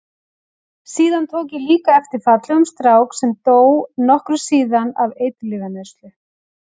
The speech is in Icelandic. Síðan tók ég líka eftir fallegum strák sem dó nokkru síðar af eiturlyfjaneyslu.